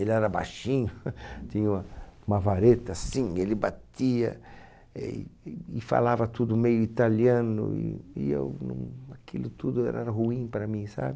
Ele era baixinho, tinha uma uma vareta assim, ele batia e e falava tudo meio italiano e eu não, aquilo tudo era ruim para mim, sabe?